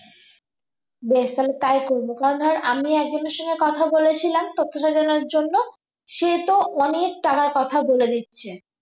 বেশ তাহলে তাই করবো কারণ ধর আমি একজনের সঙ্গে কথা বলে ছিলাম তত্ত্ব সাজানোর জন্য সে তো অনেক টাকার কথা বলে দিচ্ছে